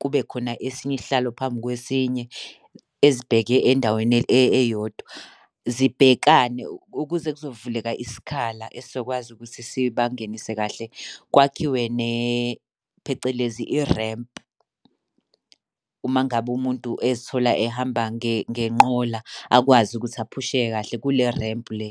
kube khona esinye isihlalo phambi kwesinye ezibheke endaweni eyodwa. Zibhekane ukuze kuzovuleka isikhala esizokwazi ukuthi sibangenise kahle. Kwakhiwe phecelezi i-ramp. Uma ngabe umuntu ezithola ehamba ngenqola, akwazi ukuthi aphusheke kahle kule-ramp le.